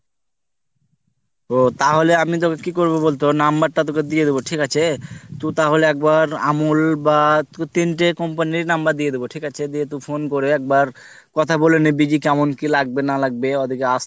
ও তাহলে আমি তোকে কি করবো বলতো number তোকে দিয়ে দুব ঠিক আছে তু তাহলে একবার আমুল বা তিনটে company র number দিয়া দেব ঠিক আছে দিয়ে তুই phone করে একবার কথা বলে নিবি কেমন কি লাগবে না লাগবে ওদের কে আস্তে